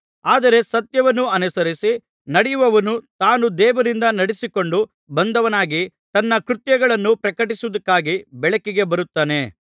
ಆದರೆ ಸತ್ಯವನ್ನು ಅನುಸರಿಸಿ ನಡೆಯುವವನು ತಾನು ದೇವರಿಂದ ನಡಿಸಿಕೊಂಡು ಬಂದವನಾಗಿ ತನ್ನ ಕೃತ್ಯಗಳನ್ನು ಪ್ರಕಟಪಡಿಸುವುದಕ್ಕಾಗಿ ಬೆಳಕಿಗೆ ಬರುತ್ತಾನೆ